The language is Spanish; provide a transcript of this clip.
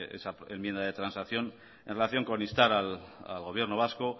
esa enmienda de transacción en relación con instar al gobierno vasco